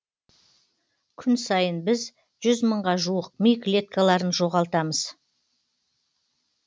күн сайын біз жүз мыңға жуық ми клеткаларын жоғалтамыз